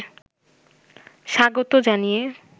স্বাগত জানিয়ে